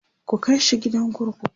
ku kaishi gidan kurkuku!